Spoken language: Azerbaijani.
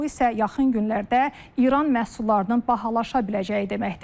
Bu isə yaxın günlərdə İran məhsullarının bahalaşa biləcəyi deməkdir.